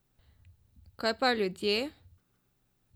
Kaj pa ljudje?